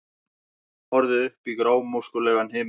Horfði upp í grámóskulegan himininn.